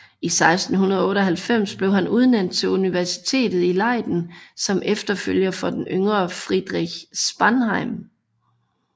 I 1698 blev han udnævnt til universitetet i Leiden som efterfølger for den yngre Friedrich Spanheim